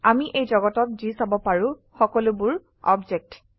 আমি এই যগতত যি চাব পাৰো সকলো বোৰ অবজেক্ট